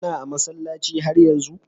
Kana a'masallaci har yanzu?